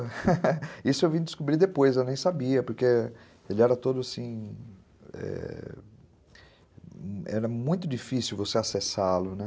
Isso eu vim descobrir depois, eu nem sabia, porque ele era todo assim...é... Era muito difícil você acessá-lo, né?